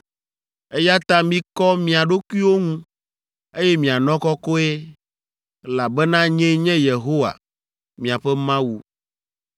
“ ‘Eya ta mikɔ mia ɖokuiwo ŋu, eye mianɔ kɔkɔe, elabena nyee nye Yehowa, miaƒe Mawu.